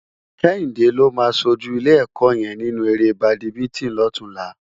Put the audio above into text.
Kehinde ló má ṣójú ilé èkò yèn ninú éré bádimintin lòtúnlá